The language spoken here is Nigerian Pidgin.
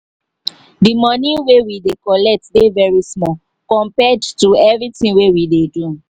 the money wey we dey collect dey very small compared to everythi we we dey do